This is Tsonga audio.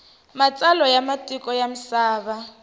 matsalwa ya matiko ya misava